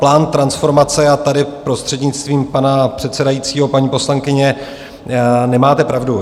Plán transformace - a tady prostřednictvím pana předsedajícího, paní poslankyně, nemáte pravdu.